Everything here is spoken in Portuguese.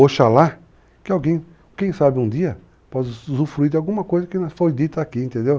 Oxalá que alguém, quem sabe um dia, possa usufruir de alguma coisa que foi dita aqui, entendeu?